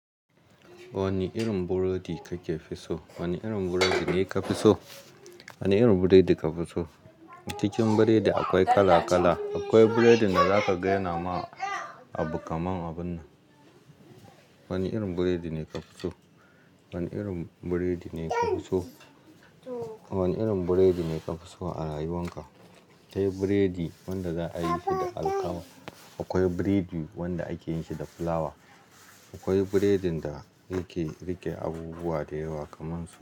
Wane irin burodi kake so? Wane irin burodi ne ka fi so? Wane irin burodi ka fi so? A cikin burodi akwai kala kala. Akwai burodin da zaka gane ama abu kaman abun nan. Wane irin burodi ne ka fi so? Wane irin burodi ne ka fi so? Wane irin burodi ne ka fi so a rayuwan ka? Kai burodi wanda za a yi shi da alkama. Akwai burodi wanda ake yin shi da fulawa. Akwai burodin da yake rike abubuwa da yawa kamansa.